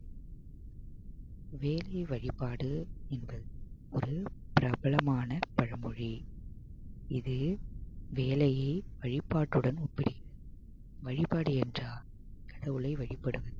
வேலை வழிபாடு என்பது ஒரு பிரபலமான பழமொழி இது வேலையை வழிபாட்டுடன் ஒப்பிடுகிறது வழிபாடு என்றால் கடவுளை வழிபடுவது